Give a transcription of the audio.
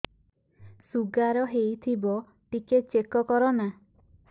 sugar ହେଇଥିବ ଟିକେ check କର ନା